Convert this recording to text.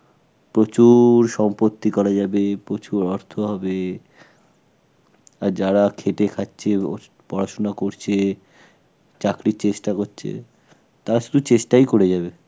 প্রচুর সম্পত্তি করা যাবে, প্রচুর অর্থ হবে. আর যারা খেটে খাচ্ছে ও পড়াশোনা করছে, চাকরির চেষ্টা করছে, তারা শুধু চেষ্টাই করে যাবে.